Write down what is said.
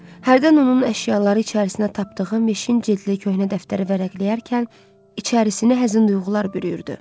Hərdən onun əşyaları içərisinə tapdığı meşin cildli köhnə dəftəri vərəqləyərkən içərəsini həzin duyğular bürüyürdü.